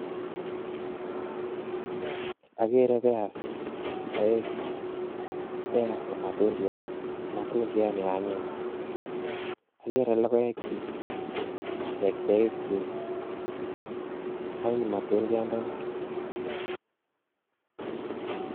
Akere pears aeng pears ko matundyat neanyiny akere logoek chik ak beek chik anyiny matundyat ndonii